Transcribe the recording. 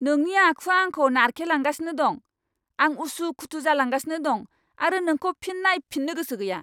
नोंनि आखुआ आंखौ नारखेलांगासिनो दं। आं उसु खुथु जालांगासिनो दं आरो नोंखौ फिन नायफिन्नो गोसो गैया!